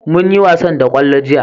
mun yi wasan da kwallo jiya